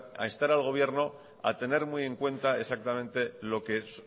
a instar al gobierno a tener muy en cuenta exactamente